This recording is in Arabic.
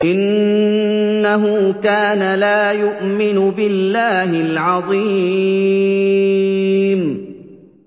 إِنَّهُ كَانَ لَا يُؤْمِنُ بِاللَّهِ الْعَظِيمِ